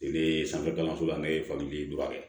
Ne ye sanfɛ kalanso la ne ye faki dɔrɔn kɛ